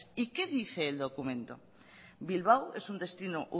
y qué dice el documento bilbao es un destino